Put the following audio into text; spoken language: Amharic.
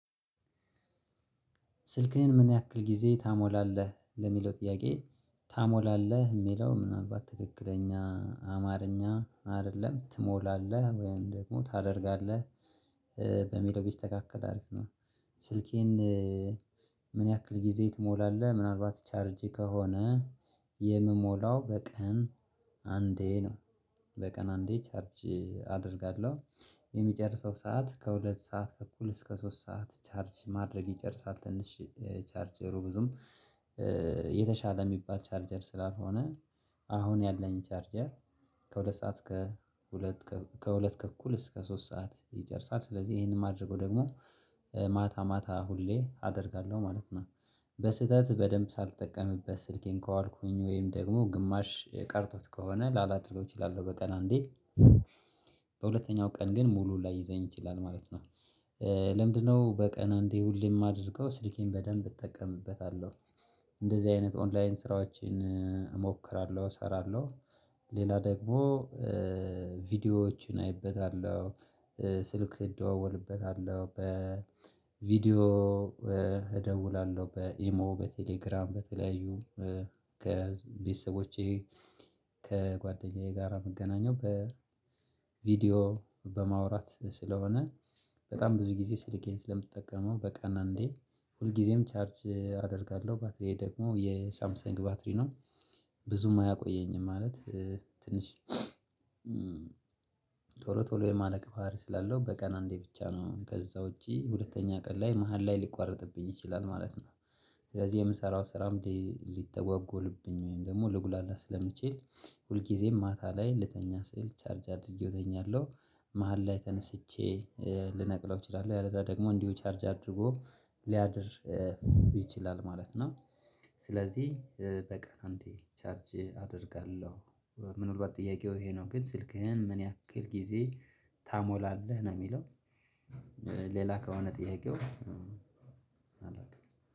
ስልክህን ምን ያክል ጊዜ ታሞላለህ ለሚለው ጥያቄ ታሞላለህ የሚለው ምናልባት ትክክለኛ አማርኛ አይደለም ትሞላለህ ወይም ደግሞ ታደርጋለህ በሚለው ቢስተካከል አሪፍ ነው። ስልኬን ምን ያክል ጊዜ ትሞላለህ? ምናልባት ቻርጅ ከሆነ የምሞላው በቀን አንዴ ነው። በቀን አንዴ ቻርጅ አደርጋለሁ። የሚጨርሰው ሰዓት ከሁለት ሰዓት ተኩል እስከ ሶስት ሰዓት ቻርጅ ማድረግ ይጨርሳል። ትንሽ ቻርጀሩ ብዙም የተሻለ የሚባል ቻርጀር ስላልሆነ አሁን ያለኝ ቻርጀር። ከሁለት ሰዓት እስከ ሁለት ከሁለት ተኩል እስከ ሶስት ሰዓት ይጨርሳል። ስለዚህ ይሄንን ማድረጉ ደግሞ ማታ ማታ ሁሌ አደርጋለሁ ማለት ነው። በስህተት በደንብ ሳልጠቀምበት ስልኬን ከዋልኩኝ ወይም ደግሞ ግማሽ ቀርቶት ከሆነ ላላደርገው እችላለሁ። በቀን አንዴ በሁለተኛው ቀን ግን ሙሉ ላይዘኝ ይችላል ማለት ነው። ለምንድንነው በቀን አንዴ ሁሌም የማደርገው ስልኬን በደንብ እጠቀምበታለሁ። እንደዚህ አይነት ኦንላይን ስራዎችን እሞክራለሁ እሰራለሁ። ሌላ ደግሞ ቪዲዮዎችን አይበታለሁ። ስልክ እደዋዎልበታለሁ በ ቪዲዮ እደውላለሁ በኢሞ በቴሌግራም በተለያዩ ከቤተሰቦቼ ከጓደኛዬ ጋር የምገናኘው በቪዲዮ በማውራት ስለሆነ። በጣም ብዙ ጊዜ ስልኬን ስለምጠቀመው በቀን አንዴ ሁልጊዜም ቻርጅ አደርጋለሁ ባትሪዬ ደግሞ የሳምሰንግ ባትሪ ነው። ብዙም አያቆየኝም ማለት ትንሽ ቶሎ ቶሎ የማለቅ ባህሪ ስላለው በቀን አንዴ ብቻ ነው። ከዛ ውጪ ሁለተኛ ቀን ላይ መሃል ላይ ሊቋረጥብኝ ይችላል ማለት ነው። ስለዚህ የምሰራው ስራም ሊ ሊተጓጎልብኝ ወይም ደግሞ ልጉላላ ስለምችል ሁል ጊዜም ማታ ላይ ልተኛ ስል ቻርጅ አድርጌው እተኛለሁ። መሃል ላይ ተነስቼ ልነቅለው እችላለሁ። ያለዛ ደግሞ እንዲሁ ቻርጅ አድርጎ ሊያድር ይችላል ማለት ነው። ስለዚህ በቀን አንዴ ቻርጅ አደርጋለሁ። ምን አልባት ጥያቄው ይሄ ነው ግን ስልክህን ምን ያክል ጊዜ ታሞላለህ? ነው የሚለው ሌላ ከሆነ ጥያቄው